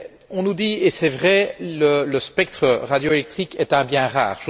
On nous dit et c'est vrai que le spectre radioélectrique est un bien rare.